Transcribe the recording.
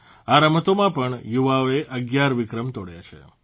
આ રમતોમાં આપણા યુવાઓએ 11 વિક્રમ તોડ્યા છે